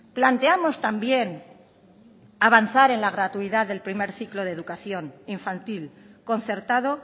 planteamos también avanzar en la gratuidad del primer ciclo de educación infantil concertado